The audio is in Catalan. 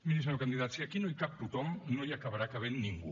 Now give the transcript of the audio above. miri senyor candidat si aquí no hi cap tothom no hi acabarà cabent ningú